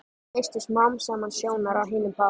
Misstu smám saman sjónar á hinum bát